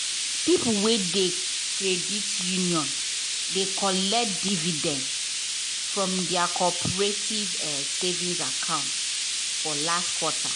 people wey de credit union de collect dividend from their cooperative savings account for last quarter